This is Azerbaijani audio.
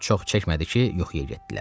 Çox çəkmədi ki, yuxuya getdilər.